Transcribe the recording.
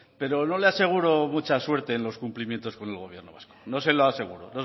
pero no le aseguro mucha suerte en los cumplimientos con el gobierno vasco no se lo aseguro